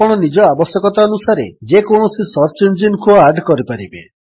ଆପଣ ନିଜ ଆବଶ୍ୟକତାନୁସାରେ ଯେକୌଣସି ସର୍ଚ୍ଚ ଇଞ୍ଜିନ୍ କୁ ଆଡ୍ କରିପାରିବେ